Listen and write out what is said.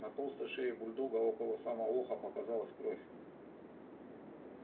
на толстой шее бульдога около самого уха показалась кровь